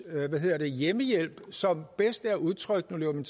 af hjemmehjælp som bedst er udtrykt nu løber min